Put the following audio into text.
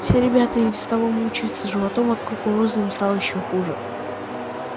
все ребята и без того мучаются животом а от кукурузы им стало ещё хуже